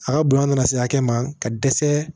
A ka bonya nana se hakɛ ma ka dɛsɛ